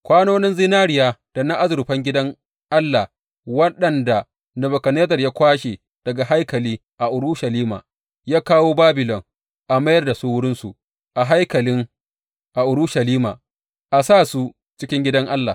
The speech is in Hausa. Kwanonin zinariya da na azurfan gidan Allah waɗanda Nebukadnezzar ya kwashe daga haikali a Urushalima ya kawo Babilon, a mayar da su wurinsu a haikali a Urushalima; a sa su cikin gidan Allah.